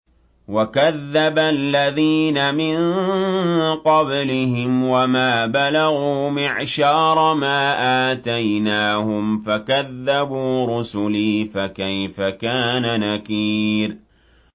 وَكَذَّبَ الَّذِينَ مِن قَبْلِهِمْ وَمَا بَلَغُوا مِعْشَارَ مَا آتَيْنَاهُمْ فَكَذَّبُوا رُسُلِي ۖ فَكَيْفَ كَانَ نَكِيرِ